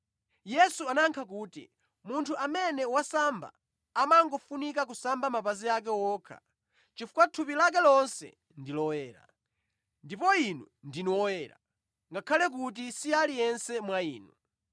Yesu anayankha kuti, “Munthu amene wasamba amangofunika kusamba mapazi ake okha chifukwa thupi lake lonse ndi loyera. Ndipo inu ndinu oyera, ngakhale kuti si aliyense mwa inu.”